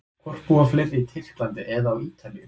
Hvort búa fleiri í Tyrklandi eða á Ítalíu?